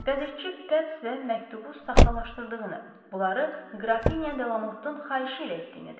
Qəzetçi qəbz və məktubu saxtalaşdırdığını, bunları Qrafinya Delamottun xahişi ilə etdiyini dedi.